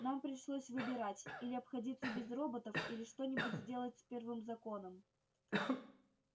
нам пришлось выбирать или обходиться без роботов или что-нибудь сделать с первым законом